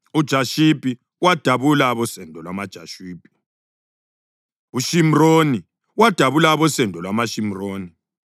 uJashubi wadabula abosendo lwamaJashubi; uShimroni wadabula abosendo lwamaShimroni.